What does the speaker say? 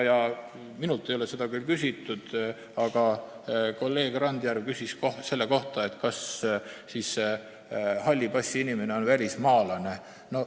Minult ei ole seda küll küsitud, aga kolleeg Randjärv küsis enne, kas siis halli passiga inimene on välismaalane.